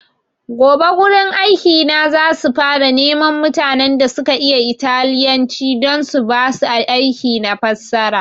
Gobe wurin aiki na za su fara neman mutanen da suka iya italyanci don su basu aiki na fassara